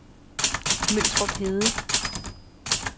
Møltrup Hede